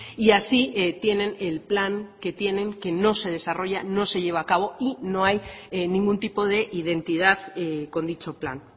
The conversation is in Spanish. y así tienen el plan que tienen que no se desarrolla no se lleva a cabo y no hay ningún tipo de identidad con dicho plan